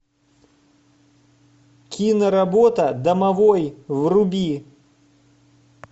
киноработа домовой вруби